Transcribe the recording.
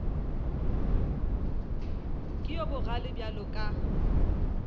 ke yo bogale bjalo ka